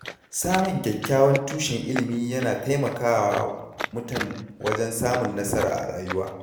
Samun kyakkyawan tushen ilimi yana taimakawa mutum wajen samun nasara a rayuwa.